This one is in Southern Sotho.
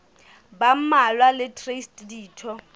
ba mmalwa le traste ditho